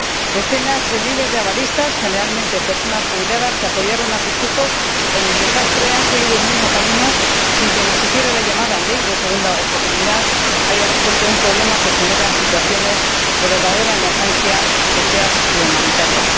Decenas de miles de avalistas, generalmente personas jubiladas que apoyaron a sus hijos en el desastre, han seguido el mismo camino sin que ni siquiera la llamada ley de segunda oportunidad haya resuelto un problema que genera situaciones de verdadera emergencia social y humanitaria.